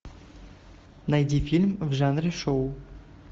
найди фильм в жанре шоу